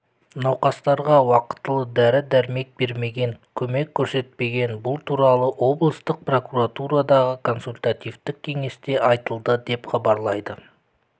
науқастарға уақытылы дәрі-дәрмек бермеген көмек көрсетпеген бұл туралы облыстық прокуратурадағы консультативтік кеңесте айтылды деп хабарлайды